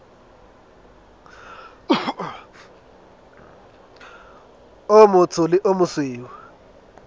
o motsho le o mosweu